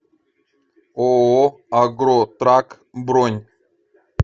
ооо агротрак бронь